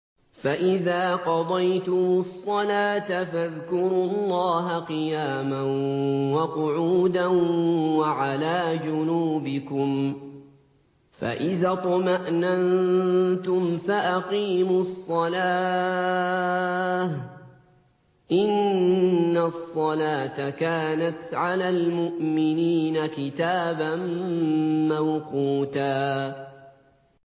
فَإِذَا قَضَيْتُمُ الصَّلَاةَ فَاذْكُرُوا اللَّهَ قِيَامًا وَقُعُودًا وَعَلَىٰ جُنُوبِكُمْ ۚ فَإِذَا اطْمَأْنَنتُمْ فَأَقِيمُوا الصَّلَاةَ ۚ إِنَّ الصَّلَاةَ كَانَتْ عَلَى الْمُؤْمِنِينَ كِتَابًا مَّوْقُوتًا